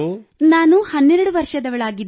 ನಾನು 12 ವರ್ಷದವಳಾಗಿದ್ದೇನೆ